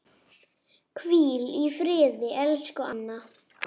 Hvíl í friði, elsku Anna.